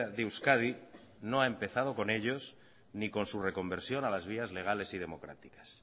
de euskadi no ha empezado con ellos ni con su reconversión a las vías legales y democráticas